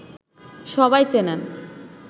সবাই চেনেন